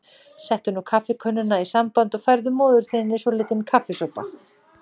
Settu nú kaffikönnuna í samband og færðu móður þinni svolítinn kaffisopa